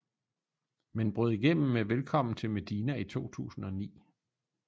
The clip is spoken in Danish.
Men brød igennem med velkommen til medina i 2009